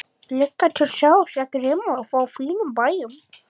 Gluggatjöld sáust ekki nema á fínustu bæjum.